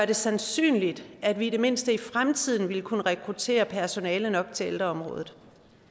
det sandsynligt at vi i det mindste i fremtiden vil kunne rekruttere personale nok til ældreområdet